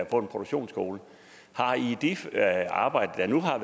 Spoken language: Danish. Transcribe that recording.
produktionsskole arbejder man har